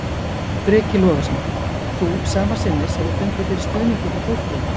Breki Logason: Þú sama sinnis hefur fundið fyrir stuðningi frá fólki?